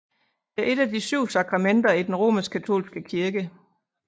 Det er et af de syv sakramenter i den romerskkatolske kirke